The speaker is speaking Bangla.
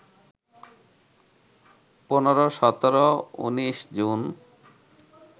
১৫, ১৭, ১৯ জুন